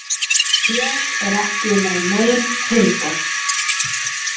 Ég er ekki með nein tilboð.